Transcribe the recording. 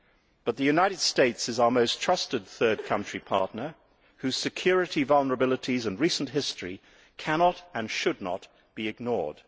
However, the United States is our most trusted third country partner, whose security vulnerabilities and recent history cannot, and should not, be ignored.